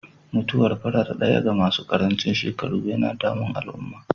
Mutuwar farar ɗaya ga masu karancin shekaru yana damun al'umma.